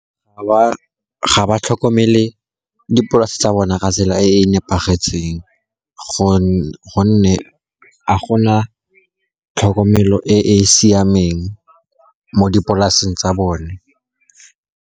Ga ba tlhokomele dipolase tsa bona ka tsela e e nepagetseng, gonne a gona tlhokomelo e e siameng mo dipolaseng tsa bone.